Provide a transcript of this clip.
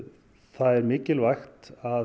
það er mikilvægt að